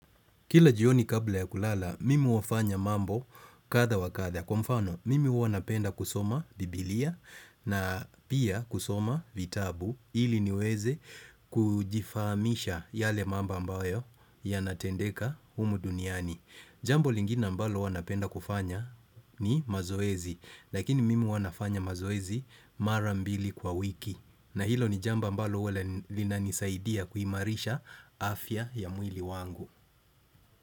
Kila jioni kabla ya kulala, mimi hufanya mambo kadha wa kadha. Kwa mfano, mimi huwa napenda kusoma bibilia na pia kusoma vitabu ili niweze kujifahamisha yale mambo ambayo yanatendeka humu duniani. Jambo lingine ambalo huwa napenda kufanya ni mazoezi, lakini mimi huwa nafanya mazoezi mara mbili kwa wiki. Na hilo ni jambo ambalo huwa lina linanisaidia kuimarisha afya ya mwili wangu.